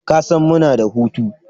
Kasan muna da hutu?